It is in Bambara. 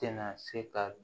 Tɛna se ka